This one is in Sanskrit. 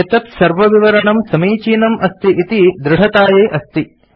एतत् सर्वविवरणं समीचीनम् अस्ति इति दृढतायै अस्ति